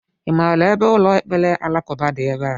I maara ebe ụlọ ekpere alakụba dị ebea?